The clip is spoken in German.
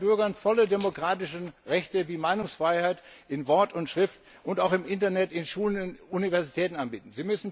Sie müssen ihren Bürgern volle demokratische Rechte wie Meinungsfreiheit in Wort und Schrift und auch im Internet, in Schulen und in Universitäten anbieten.